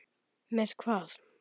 Með hvað?